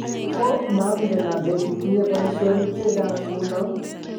Ko mangen ale kitinye boishonik che chang nguno